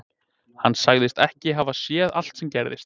Hann sagðist ekki hafa séð allt sem gerðist.